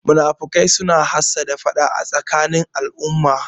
Munafukai suna hassada faɗa a tsakanin al'umma